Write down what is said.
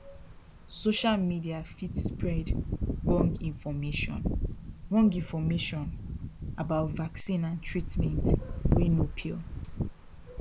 social media fit spread wrong information wrong information about vaccine and treatment wey no pure